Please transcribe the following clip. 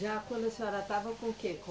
Já quando a senhora estava com o quê? Com